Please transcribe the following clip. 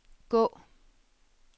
gå